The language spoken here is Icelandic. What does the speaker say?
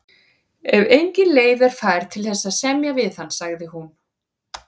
Ef engin leið er fær til þess að semja við hann, sagði hún.